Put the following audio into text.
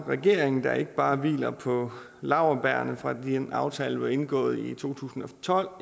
regering der ikke bare hviler på laurbærrene fra den aftale der blev indgået i to tusind og tolv